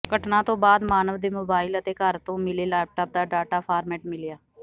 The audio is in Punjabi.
ਘਟਨਾ ਤੋਂ ਬਾਅਦ ਮਾਨਵ ਦੇ ਮੋਬਾਇਲ ਅਤੇ ਘਰ ਤੋਂ ਮਿਲੇ ਲੇਪਟਾਪ ਦਾ ਡਾਟਾ ਫਾਰਮੇਟ ਮਿਲਿਆ